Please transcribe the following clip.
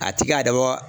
A ti ka dabɔ